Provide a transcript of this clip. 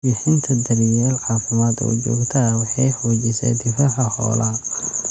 Bixinta daryeel caafimaad oo joogto ah waxay xoojisaa difaaca xoolaha.